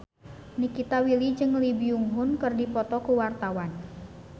Nikita Willy jeung Lee Byung Hun keur dipoto ku wartawan